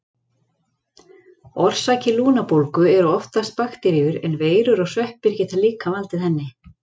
Orsakir lungnabólgu eru oftast bakteríur, en veirur og sveppir geta líka valdið henni.